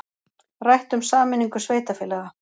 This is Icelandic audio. Rætt um sameiningu sveitarfélaga